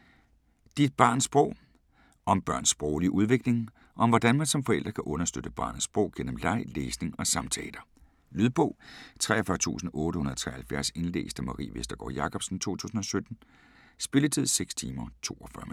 Dit barns sprog Om børns sproglige udvikling, og hvordan man som forælder kan understøtte barnets sprog gennem leg, læsning og samtaler. Lydbog 43873 Indlæst af Marie Vestergård Jacobsen, 2017. Spilletid: 6 timer, 42 minutter.